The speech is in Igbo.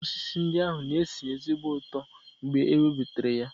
Okooko osisi ndị ahụ na-esi ezigbo ụtọ mgbe e webatara ha.